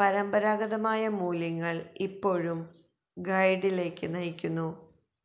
പരമ്പരാഗതമായ മൂല്യങ്ങൾ ഇപ്പോഴും ഗൈഡിലേക്ക് നയിക്കുന്നു